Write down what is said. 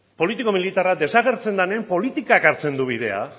politiko militarra desagertzen denean